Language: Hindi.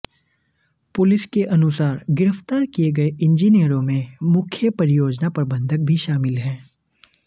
पुलिस के अनुसार गिरफ्तार किये गये इंजीनियरों में मुख्य परियोजना प्रबंधक भी शामिल है